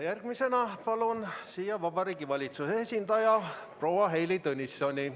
Järgmisena palun siia Vabariigi Valitsuse esindaja proua Heili Tõnissoni.